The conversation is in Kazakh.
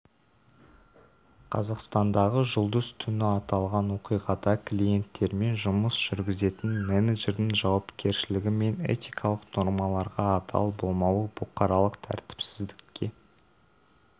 қазақстандағы жұлдыз түні аталған оқиғада клиенттермен жұмыс жүргізетін менеджердің жауапкершлігі мен этикалық нормаларға адал болмауы бұқаралық тәртіпсіздікке